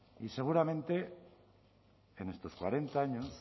y seguramente en estos cuarenta años